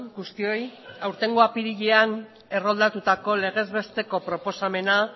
guztioi aurtengo apirilean erroldatutako legezbesteko proposamena